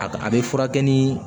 A a bɛ furakɛ ni